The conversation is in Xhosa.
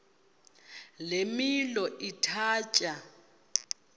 le milo ithatya